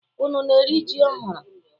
Unu na-eri ji ọhụrụ?